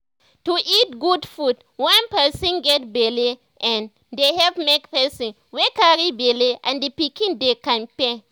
to eat good food when person get belle[um]dey help make person wey carry belle and the pikiin dey kampe